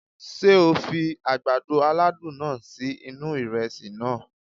Sé o fi àgbàdo aládùn náà sí inú ìresì naa?